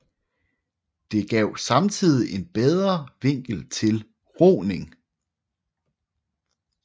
Det gav samtidig en bedre vinkel til roning